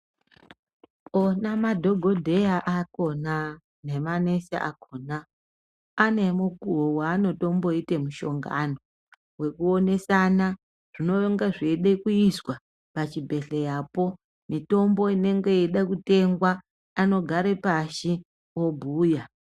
Ona madhokodheya akhona nemanesi akhona, anemukuwo wanotomboite mushongani, wekuwonesana zvinenge zviyida kuyiswa pachibhedhleya po, nemitombo inenge iyida kutengwa. Anogare pashi obuya.